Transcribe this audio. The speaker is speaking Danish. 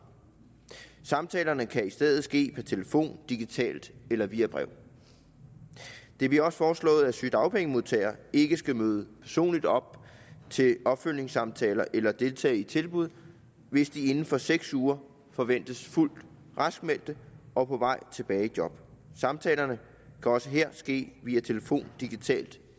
samtalerne kan i stedet ske per telefon digitalt eller via brev det bliver også foreslået at sygedagpengemodtagere ikke skal møde personligt op til opfølgningssamtaler eller deltage i tilbud hvis de inden for seks uger forventes fuldt raskmeldte og på vej tilbage i job samtalerne kan også her ske via telefon digitalt